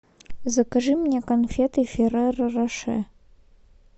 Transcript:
закажи мне конфеты ферреро роше